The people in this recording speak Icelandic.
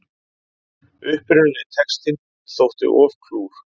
Upprunalegi textinn þótti of klúr